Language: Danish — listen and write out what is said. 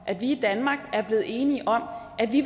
at vi i danmark er blevet enige om at vi